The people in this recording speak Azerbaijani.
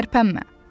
Tərpənmə!